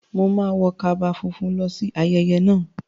Mo máa wọ kaba funfun lọ sí ayẹyẹ náà.